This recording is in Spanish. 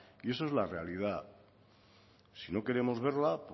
y eso es la realidad si no queremos verla